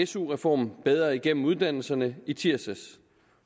su reform bedre igennem uddannelserne i tirsdags